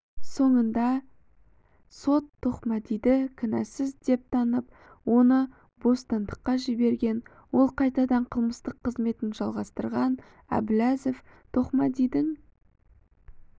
соңында сот тоқмәдиді кінәсіз деп танып оны бостандыққа жіберген ол қайтадан қылмыстық қызметін жалғастырған әбіләзов тоқмәдидің